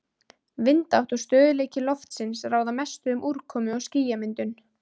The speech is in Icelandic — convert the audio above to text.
Vindátt og stöðugleiki loftsins ráða mestu um úrkomu- og skýjamyndun.